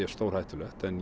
stórhættulegt en